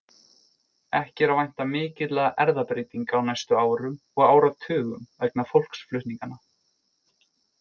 Ekki er að vænta mikilla erfðabreytinga á næstu árum og áratugum vegna fólksflutninganna.